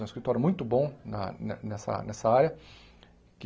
É um escritório muito bom na ne nessa essa área.